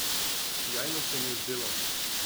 Sijajno se mi je zdelo.